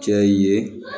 Cɛ ye